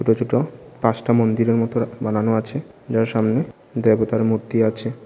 ছোট ছোট পাঁচটা মন্দিরের মতো বানানো আছে যার সামনে দেবতার মূর্তি আছে।